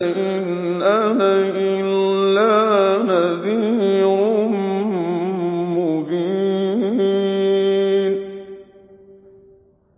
إِنْ أَنَا إِلَّا نَذِيرٌ مُّبِينٌ